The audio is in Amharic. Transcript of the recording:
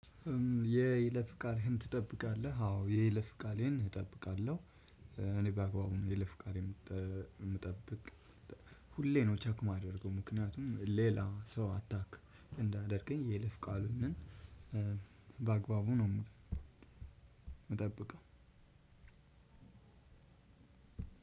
የይለፍ ቃልህን ትጠብቃለህ? አዎ የለፍ ቃሌን እጠብቃለሁ። እኔ በአግባቡ ነው የለፍ ቃሌን የምጠብቅ ሁሌ ነው ቸክ የማደርገው። ምክንያቱም ሌላ ሰው አታክ እንዳያደርገኝ የይለፍ ቃሌን በአግባቡ ነው የምለው መጠብቀው።